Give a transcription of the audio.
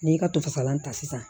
N'i y'i ka to fasalan ta sisan